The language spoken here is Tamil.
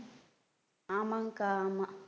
ஆமாங்க்கா ஆமா